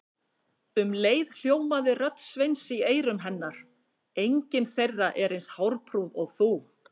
Um leið hljómaði rödd Sveins í eyrum hennar: engin þeirra er eins hárprúð og þú